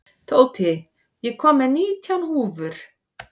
Tóti, ég kom með nítján húfur!